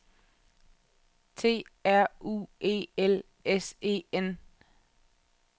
T R U E L S E N